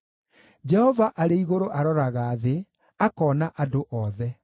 Jehova arĩ igũrũ aroraga thĩ akoona andũ othe;